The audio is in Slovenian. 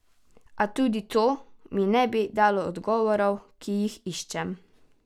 A tudi to mi ne bi dalo odgovorov, ki jih iščem.